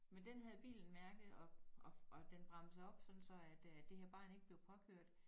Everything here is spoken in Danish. Men den havde bilen mærket og den bremsede op sådan så at øh det her barn ikke blev påkørt